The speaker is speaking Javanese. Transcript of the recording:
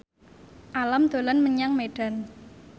Alam dolan menyang Medan